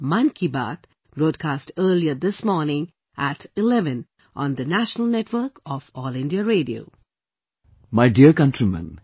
My Dear Countrymen